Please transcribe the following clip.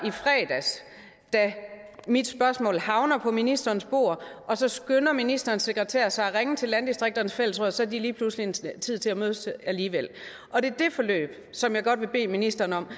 i fredags da mit spørgsmål havner på ministerens bord så skynder ministerens sekretær sig at ringe til landdistrikternes fællesråd og så har de lige pludselig tid til at mødes alligevel og det er det forløb som jeg godt vil bede ministeren om at